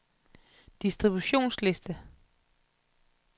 distributionsliste